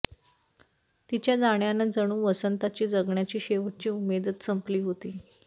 तिच्या जाण्यानं जणू वसंताची जगण्याची शेवटची उमेदच संपली होती